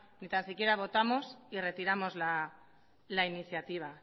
ni tan siquiera votamos y retiramos la iniciativa